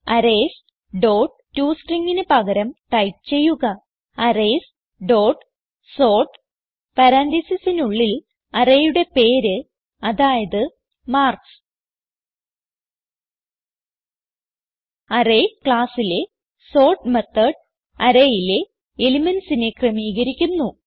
arrays dot toStringന് പകരം type ചെയ്യുക അറേയ്സ് ഡോട്ട് സോർട്ട് പരാൻതീസിസിനുള്ളിൽ arrayയുടെ പേര് അതായത് മാർക്ക്സ് അറേയ്സ് classലെ സോർട്ട് മെത്തോട് arrayയിലെ elementsനെ ക്രമീകരിക്കുന്നു